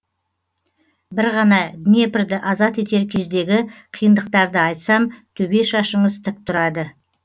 бір ғана днепрді азат етер кездегі қиындықтарды айтсам төбе шашыңыз тік тұрады